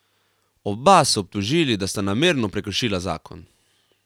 Oba so obtožili, da sta namerno prekršila zakon.